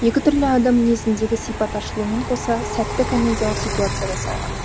екі түрлі адам мінезіндегі сипат ашылумен қоса сәтті комедиялық ситуация жасалған